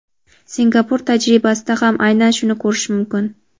Singapur tajribasida ham aynan shuni ko‘rish mumkin.